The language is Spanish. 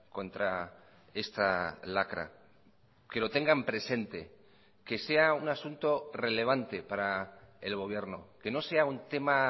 contra esta lacra que lo tengan presente que sea un asunto relevante para el gobierno que no sea un tema